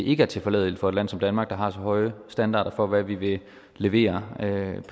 ikke er tilforladelige for et land som danmark der har så høje standarder for hvad vi vil levere